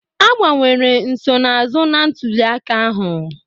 Agbanwere nsonaazụ na ntuli aka ahụ